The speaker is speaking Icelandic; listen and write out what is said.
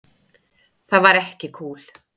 Það var ekki kúl.